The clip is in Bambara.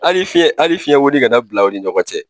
Hali fiyɛn hali fiyɛn wonin kana bila aw ni ɲɔgɔn cɛ.